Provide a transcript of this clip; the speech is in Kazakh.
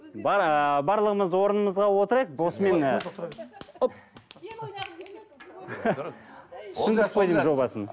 ыыы барлығымыз орнымызға отырайық осымен ы түсіндік қой деймін жобасын